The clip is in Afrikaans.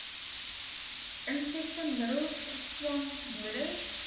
insekte middels swamdoders